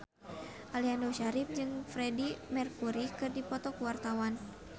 Aliando Syarif jeung Freedie Mercury keur dipoto ku wartawan